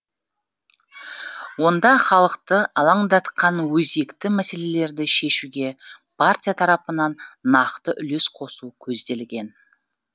онда халықты алаңдатқан өзекті мәселелерді шешуге партия тарапынан нақты үлес қосу көзделген